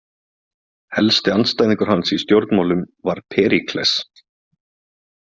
Helsti andstæðingur hans í stjórnmálum var Períkles.